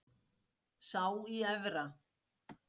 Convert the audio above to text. Sá í Efra.